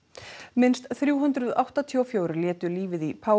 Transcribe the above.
minnst þrjú hundruð áttatíu og fjögur létu lífið í